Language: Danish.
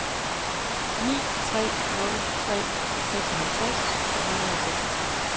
ni tre nul tre seksoghalvtreds to hundrede og seksogtres